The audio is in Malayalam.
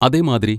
അതെ, മാദ്രി.